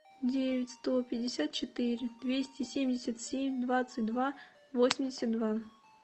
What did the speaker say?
девять сто пятьдесят четыре двести семьдесят семь двадцать два восемьдесят два